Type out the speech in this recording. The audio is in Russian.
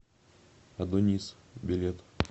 адонис билет